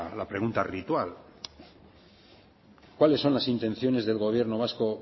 ritual cuáles son las intenciones del gobierno vasco